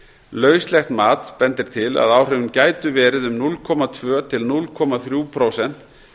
lauslegt mat bendir til að áhrifin gætu verið um núll komma tvö til núll komma þrjú prósent